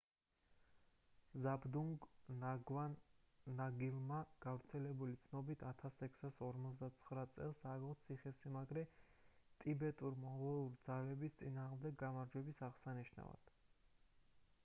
ზაბდურგ ნგავანგ ნამგილმა გავრცელებული ცნობებით 1649 წელს ააგო ციხესიმაგრე ტიბეტურ-მონღოლური ძალების წინააღმდეგ გამარჯვების აღსანიშნავად